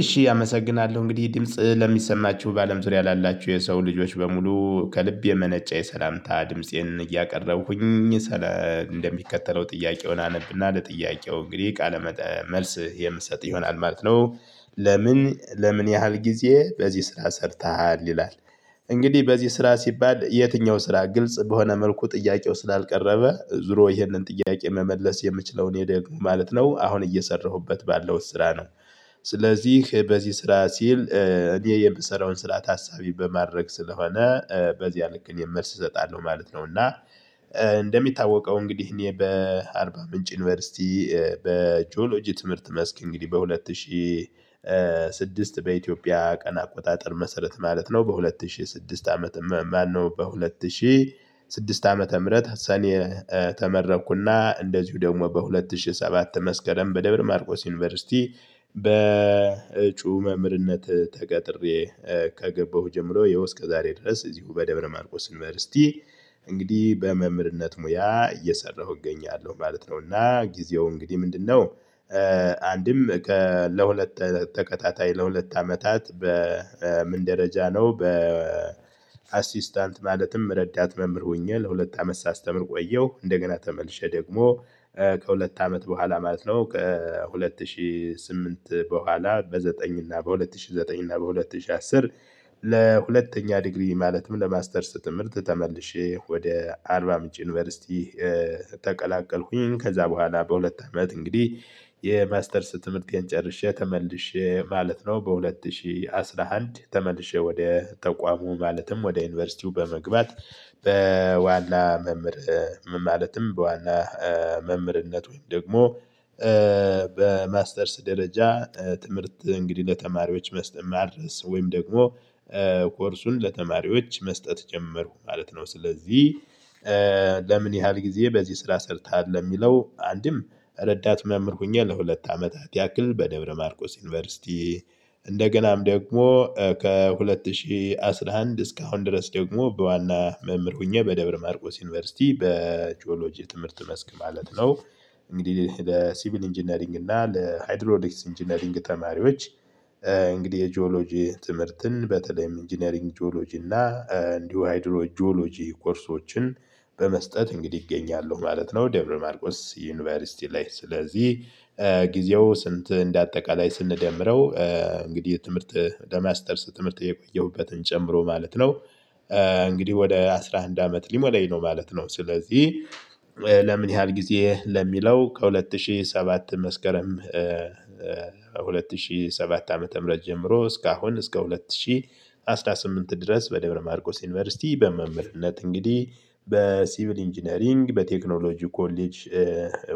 እሺ አመሰግናለሁ እንግዲህ ድምጽ ለሚሰማችሁ በአለም ዙሪያ ላላችሁ የሰው ልጆች በሙሉ ከልብ የመነጨ የሰላምታ ድምፄን እያቀረብኩኝ እንደሚከተለው ጥያቄውን አነብና ለጥያቄው እንግዲህ ቃለ መልስ የምሰጥ ይሆናል ማለት ነው። ለምን ለምን ያህል ጊዜ በዚህ ስራ ሰርተሃል ይላል? እንግዲህ በዚህ ስራ ሲባል የትኛው ስራ ግልጽ በሆነ መልኩ ጥያቄው ስላልቀረበ ዙሮ ይህንን ጥያቄ መመለስ የምችለው እኔ ደግሞ ማለት ነው አሁን እየሰራሁበት ባለሁት ስራ ነው። ስለዚህ በዚህ ስራ ሲል እኔ የምሰራውን ስራ ታሳቢ በማድረግ ስለሆነ በዚያ ልክ እኔ መልስ እሰጣለሁ ማለት ነው። እና እንደሚታወቀው እንግዲህ እኔ በአርባ ምንጭ ዩኒቨርሲቲ በጂኦሎጂ ትምህርት መስክ እንግዲህ በሁለት ሺህ ስድስት በኢትዮጵያ ቀን አቆጣጠር መሰረት ማለት ነው። በሁለት ሺ ስድስት አመት ማነው በሁለት ሺህ ስድስት ዓመተ ምህረት ሰኔ ተመረኩና እንደዚሁ ደግሞ በሁለት ሺህ ሰባት መስከረም በደብረ ማርቆስ ዩኒቨርሲቲ በእጩ መምህርነት ተቀጥሬ። ከገባሁ ጀምሮ የህው አስከ ዛሬ ድረስ እዚሁ በደብረ ማርቆስ ዩነቨርስቲ እንግዲህ በመምህርነት ሙያ እየሰራሁ እገኛለሁ ማለት ነው። እና ጊዜው እንግዲህ ምንድነው አንድም ከ ለሁለት ተከታታይ ለሁለት አመታት በምን ደረጃ ነው? አሲስታንት ማለትም ረዳት መምህር ሆኜ ለሁለት አመት ሳስተምር ቆየሁ እንደገና ተመልሼ ደግሞ ከሁለት አመት በኋላ ማለት ነው ከሁለት ሺህ ስምንት በኋላ በዘጠኝ እና በሁለት ሺህ ዘጠኝ እና በሁለት ሺህ አስር። ለሁለተኛ ዲግሪ ማለትም ለማስተርስ ትምህርት ተመልሼ ወደ አርባ ምንጭ ዩኒቨርሲቲ። ተቀላቀልኩኝ ከዛ በኋላ በሁለት አመት እንግዲህ የማስተርስ ትምህርቴን ጨርሼ ተመልሼ ማለት ነው በሁለት ሺህ አስራ አንድ ተመልሼ ወደ ተቋሙ ማለትም ወደ ዩኒቨርሲቲው በመግባት። በዋና መምህር ምን ማለትም በዋና መምህርነት ወይም ደግሞ በማስተርስ ደረጃ ትምህርት እንግዲህ ለተማሪዎች ማድረስ ወይም ደግሞ ኮርሱን ለተማሪዎች መስጠት ጀመርኩ ማለት ነው። ስለዚህ ለምን ያህል ጊዜ በዚህ ስራ ሰርተሀል ለሚለው አንድም ረዳት መምህር ሆኜ ለሁለት አመታት ያክል በደብረ ማርቆስ ዩኒቨርሲቲ እንደገናም ደግሞ ከሁለት ሺህ አስራ አንድ እስካሁን ድረስ ደግሞ በዋና መምህር ሆኜ በደብረ ማርቆስ ዩኒቨርሲቲ በቺኦሎጂ ትምህርት መስክ ማለት ነው። እንግዲህ ለሲቪል ኢንጂነሪንግ እና ለሃይድሮዶሊክስ ኢንጂነሪንግ ተማሪዎች እንግዲህ የጂኦሎጂ ትምህርትን በተለይም ኢንጂነሪንግ ጂኦሎጂ እና እንዲሁ ሀይድሮ ጂኦሎጂ ኮርሶችን በመስጠት እንግዲህ እገኛለሁ ማለት ነው። ደብረ ማርቆስ ዩኒቨርሲቲ ላይ ስለዚህ ጊዜው ስንት እንደ አጠቃላይ ስንደምረው እንግዲህ የትምህርት በማስተርስ ትምህርት የቆየሁበትን ጨምሮ ማለት ነው። እንግዲህ ወደ አስራ አንድ አመት ሊሞላኝ ነው ማለት ነው። ስለዚህ ለምን ያህል ጊዜ ለሚለው ከሁለት ሺህ ሰባት መስከረም ሁለት ሺህ ሰባት ዓመተ ምህረት ጀምሮ እስከ አሁን እስከ ሁለት ሺህ አስራ ስምንት ድረስ በደብረ ማርቆስ ዩኒቨርሲቲ በመምህርነት እንግዲህ በሲቪል ኢንጂነሪንግ በቴክኖሎጂ ኮሌጅ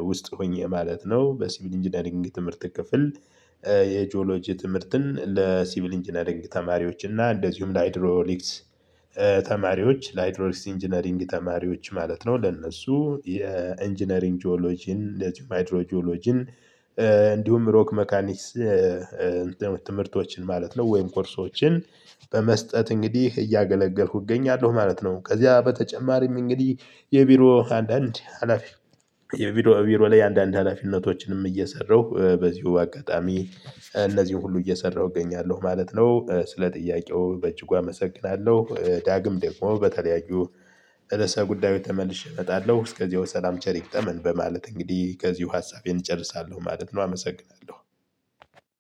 ውስጥ ሆኜ ማለት ነው። በሲቪል ኢንጂነሪንግ ትምህርት ክፍል የጂኦሎጂ ትምህርትን ለሲቪል ኢንጂነሪንግ ተማሪዎች እና እንደዚሁም ለሀይድሮሊክስ ተማሪዎች ለሀይድሮሊክስ ኢንጂነሪንግ ተማሪዎች ማለት ነው ለእነሱ የኢንጂነሪንግ ጂኦሎጂን እንደዚሁ ሀይድሮ ጂኦሎጂን እንዲሁም ሮክ መካኒክስ ትምህርቶችን ማለት ነው ወይም ኮርሶችን በመስጠት እንግዲህ እያገለገልኩ እገኛለሁ ማለት ነው። ከዚያ በተጨማሪም እንግዲህ የቢሮ አንዳንድ ሀላፊ የቢሮ ቢሮ ላይ አንዳንድ ሀላፊነቶችንም እየሰራሁ በዚሁ አጋጣሚ እነዚህን ሁሉ እየሰራሁ እገኛለሁ ማለት ነው። ስለ ጥያቄው በእጅጉ አመሰግናለሁ ዳግም ደግሞ በተለያዩ ርዕሰ ጉዳዩች ተመልሼ እመጣለሁ እስከዚያው ሰላም ቸር ይግጠመን በማለት እንግዲህ ከዚሁ ሀሳቤን ጨርሳለሁ ማለት ነው አመሰግናለሁ።